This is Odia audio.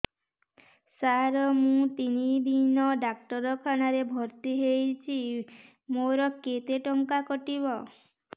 ସାର ମୁ ତିନି ଦିନ ଡାକ୍ତରଖାନା ରେ ଭର୍ତି ହେଇଛି ମୋର କେତେ ଟଙ୍କା କଟିବ